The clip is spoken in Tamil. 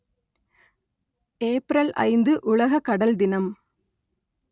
ஏப்ரல் ஐந்து உலக கடல் தினம்